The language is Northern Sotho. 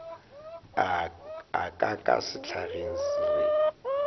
a ka ka sehlageng re